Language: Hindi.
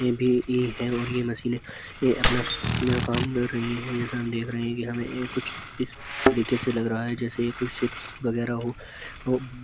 ये भी मशीने ये अपना जो काम कर रही हैं। जैसा हम देख रहे हैं कि हमें कुछ इस तरीके से लग रहा जैसे कोई शिप्स वगैरा हो।